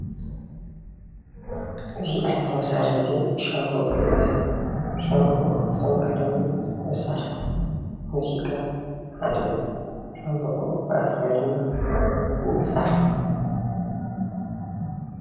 እዚ ዓየነት መሳርሒ ሻንቦቆ ይባሃል፡፡ ሻምበቆ ካብቶም ባህላዊ መሳርሒታት ሙዚቃ ሓደ እዩ፡፡ ሻንበቆ ብኣፍካ ድማ ይንፋሕ፡፡